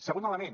segon element